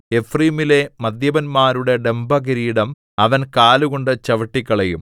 എഫ്രയീമിലെ മദ്യപന്മാരുടെ ഡംഭകിരീടം അവൻ കാലുകൊണ്ടു ചവിട്ടിക്കളയും